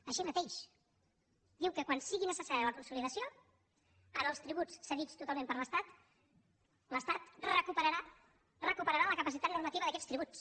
així mateix diu que quan sigui necessària la consolidació en els tributs cedits totalment per l’estat l’estat recuperarà recuperarà la capacitat normativa d’aquests tributs